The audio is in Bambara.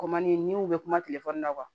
Kɔmandi n'i y'u bɛ kuma telefɔni na